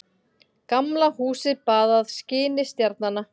Gamla húsið baðað skini stjarnanna.